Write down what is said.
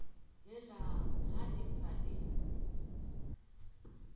helang ha e sa le